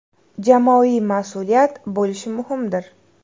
Jamoaviy mas’uliyat bo‘lishi muhimdir.